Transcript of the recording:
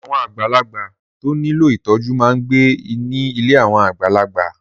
Àwọn àgbàlagbà tó nílò ìtọ́jú máa ń gbé ní ilé àwọn àgbàlagbà.